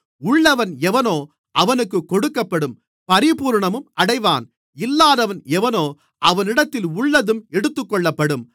உள்ளவன் எவனோ அவனுக்குக் கொடுக்கப்படும் பரிபூரணமும் அடைவான் இல்லாதவன் எவனோ அவனிடத்தில் உள்ளதும் எடுத்துக்கொள்ளப்படும்